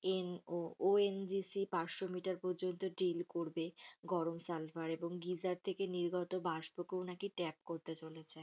N ONGC পাঁচশো metre পর্যন্ত deal করবে গরম সালফার এবং গিজার থেকে নির্গত বাষ্পকেও নাকি tag করতে চলেছে।